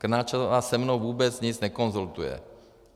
Krnáčová se mnou vůbec nic nekonzultuje.